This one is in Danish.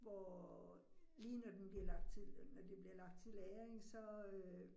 Hvor lige når den bliver lagt til, når det bliver lagt til lagring så øh